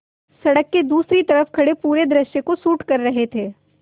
सड़क के दूसरी तरफ़ खड़े पूरे दृश्य को शूट कर रहे थे